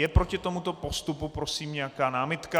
Je proti tomuto postupu, prosím, nějaká námitka?